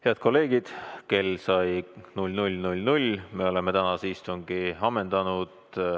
Head kolleegid, kell sai 00.00, me oleme tänase istungi ammendanud.